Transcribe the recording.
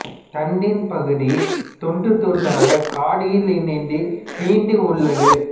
தண்டின் பகுதி துண்டு துண்டாக காடியில் இணைந்து நீண்டு உள்ளது